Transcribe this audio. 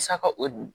Saka o